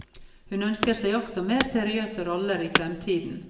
Hun ønsker seg også mer seriøse roller i fremtiden.